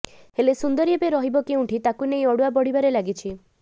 ହେଲେ ସୁନ୍ଦରୀ ଏବେ ରହିବ କେଉଁଠି ତାକୁ ନେଇ ଅଡୁଆ ବଢିବାରେ ଲାଗିଛି